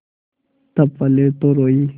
तब पहले तो रोयी